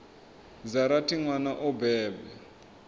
dza rathi nwana o bebwa